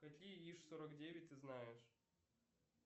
какие иж сорок девять ты знаешь